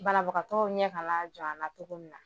Banabagatɔw ɲɛ ka jɔ an na cogo min na